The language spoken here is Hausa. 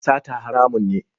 Sata haramun ne.